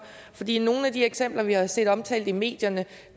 i nogle af de eksempler vi har set omtalt i medierne